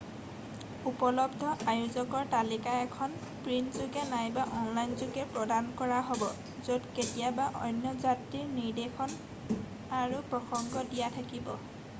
উপলব্ধ আয়োজকৰ তালিকা এখন প্ৰিণ্টযোগে নাইবা অনলাইনযোগে প্ৰদান কৰা হ'ব য'ত কেতিয়াবা অন্য যাত্ৰীৰ নিৰ্দেশ আৰু প্ৰসংগ দিয়া থাকিব